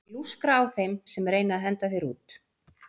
Og ég lúskra á þeim sem reyna að henda þér út.